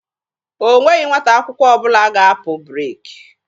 O nweghị nwata akwụkwọ ọbụla ga-apụ breeki.